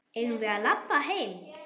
Eigum við að labba heim?